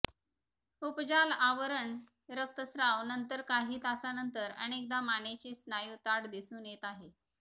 उपजाल आवरण रक्तस्त्राव नंतर काही तासांनंतर अनेकदा मानेचे स्नायू ताठ दिसून येत आहे